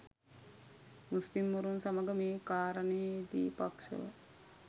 මුස්ලිම්වරුන් සමග මේ කාරණයේදි පක්ෂව